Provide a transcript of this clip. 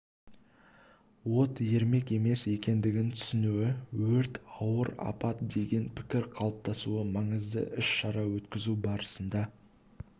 от ермек емес екендігін түсінуі өрт ауыр апат деген пікір қалыптасуы маңызды іс-шара өткізу барысында